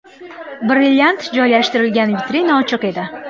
Brilliant joylashtirilgan vitrina ochiq edi.